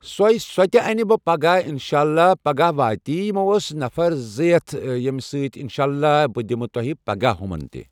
سۄے سۄتہِ اَنہٕ بہٕ پگہہ انشاءاللہ پگہہ وٲتۍ یمو ٲسۍ نَفر زٕ ہیتھ یِمہٕ سۭتۍ انشاءاللہ بہٕ دِمہٕ تۄہہِ پگہہ ہُمن تہِ